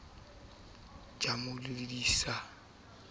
ja o mo bolaisa ka